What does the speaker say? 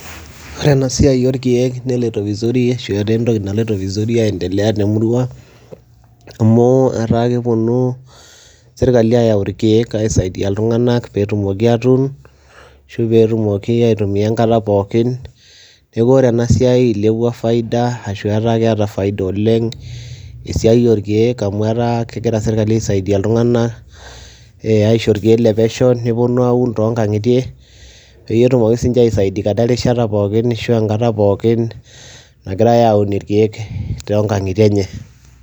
ore ena siai orkeek neloito vizuri ashu etaa entoki, naloito vizuri aendelea temurua ang'amu etaa kepuonu sirkali aayau irkeek. aisaidia iltunganak pee etumoki atuun ashu pee etumki ae aitumia enkata pookin. neeku ore ena siai eilepua faida ashu etaa keeta faida oleng ena siai orkeek. amu etaa kegira sirkali aisiadia iltunganak, nepuonu aun too kangitie, pee etumoki sii ninche aisaidiakata enkata pookin, ashu enkata pookn nagirae aaun irkeek too nkangitie enye.